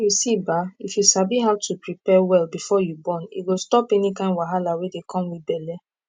you see ba if you sabi how to prepare well before you born e go stop any kind wahala wey dey come with belle